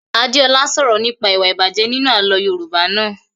Adé ọlá sọ̀rọ̀ nípa ìwà a Ìjàpá nínú àlọ́ Yorùbá naa